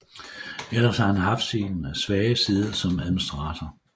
Ellers har han haft sin svage side som administrator